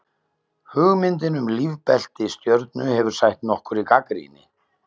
Hugmyndin um lífbelti stjörnu hefur sætt nokkurri gagnrýni.